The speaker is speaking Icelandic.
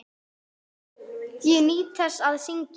Ég nýt þess að syngja.